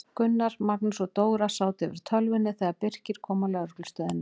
Gunnar, Magnús og Dóra sátu yfir tölvunni þegar Birkir kom á lögreglustöðina.